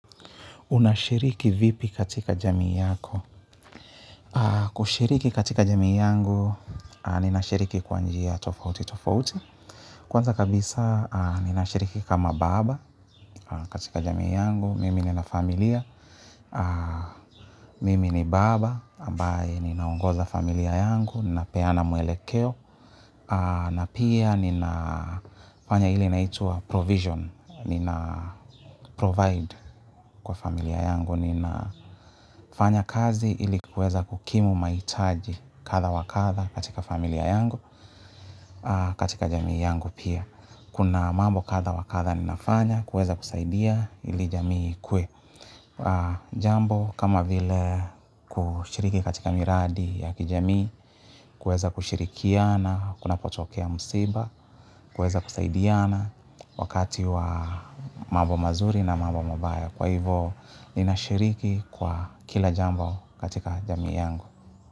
Unashiriki vipi katika jamii yako. Kushiriki katika jamii yangu, ninashiriki kwa njia tofauti tofauti. Kwanza kabisa, ninashiriki kama baba katika jamii yangu. Mimi nina familia. Mimi ni baba ambaye ninaongoza familia yangu napeana mwelekeo na pia ninafanya ile inaitwa provision, ninaprovide kwa familia yangu, ninafanya kazi ili niweze kukimu mahitaji kadha wa kadha katika familia yangu katika jamii yangu pia kuna mambo katha wa katha ninafanya kuweza kusaidia ili jamii ikuwe jambo kama vile kushiriki katika miradi ya kijamii, kuweza kushirikiana, kuna potokea msiba, kuweza kusaidiana wakati wa mambo mazuri na mambo mabaya. Kwa hivo ninashiriki kwa kila jambo katika jamii yangu.